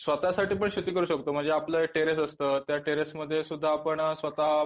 स्वतःसाठी पण शेती करू शकतो म्हणजे आपलं टेरिस असतं त्या टेरिसमध्ये सुद्धा आपण स्वतः